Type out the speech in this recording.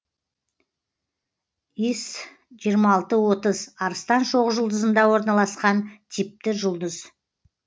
іс жиырма алты отыз арыстан шоқжұлдызында орналасқан типті жұлдыз